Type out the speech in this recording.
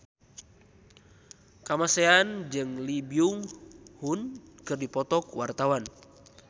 Kamasean jeung Lee Byung Hun keur dipoto ku wartawan